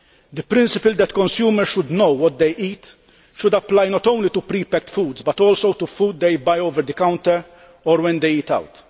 The principle that consumers should know what they eat should apply not only to prepacked foods but also to food that they buy over the counter or when they eat out.